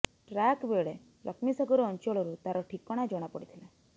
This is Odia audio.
ଟ୍ରାକ୍ ବେଳେ ଲକ୍ଷ୍ମୀସାଗର ଅଞ୍ଚଳରୁ ତାର ଠିକଣା ଜଣା ପଡ଼ିଥିଲା